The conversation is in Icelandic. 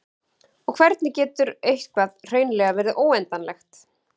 og hvernig getur eitthvað hreinlega verið óendanlegt